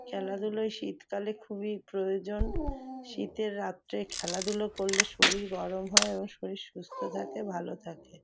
খেলাধুলায় শীতকালে খুবই প্রয়োজন শীতের রাত্রে খেলাধুলো করলে শরীর গরম হয় এবং শরীর সুস্থ থাকে ভালো থাকে।